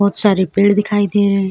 सारे पेड़ दिखाई दे रहे हैं।